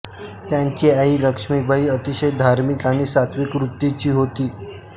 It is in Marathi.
त्यांची आई लक्ष्मीबाई अतिशय धार्मिक आणि सात्त्विक वृत्तीची होती